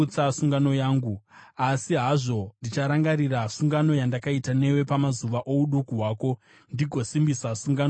Asi hazvo ndicharangarira sungano yandakaita newe pamazuva ouduku hwako, ndigosimbisa sungano isingaperi newe.